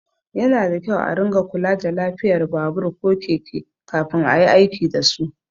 Yana da kyau a ringa kula da lafiyar babur ko keke kafin ayi aiki dasu.